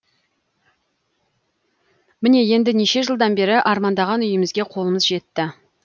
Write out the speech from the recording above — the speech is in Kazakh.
міне енді неше жылдан бері армандаған үймізге қолымыз жетті